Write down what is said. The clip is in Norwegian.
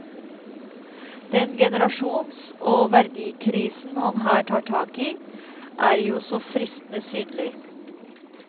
Den generasjons og verdikrisen han her tar tak i er jo så fristende synlig.